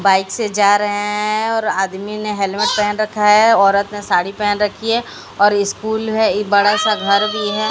Bike से जा रहे हैं और आदमी ने हेलमेट पहन रखा है औरत ने साड़ी पहन रखी है और स्कूल है ई बड़ा सा घर भी है।